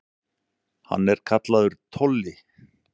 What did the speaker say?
Hann er kallaður Tolli.